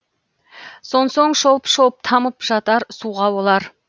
сонсоң шолп шолп тамып жатар суға олар